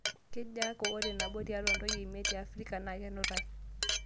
Kejaa aku ore nabo tiatua ntoyie miet te Afrika na kenutai